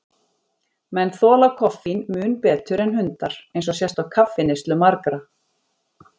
Menn þola koffín mun betur en hundar, eins og sést á kaffineyslu margra.